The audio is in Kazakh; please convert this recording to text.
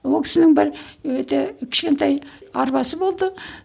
ол кісінің бір өте кішкентай арбасы болды